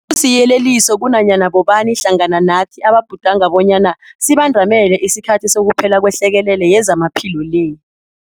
Kusiyeleliso kunanyana bobani hlangana nathi ababhudanga bonyana sibandamele isikhathi sokuphela kwehlekelele yezamaphilo le.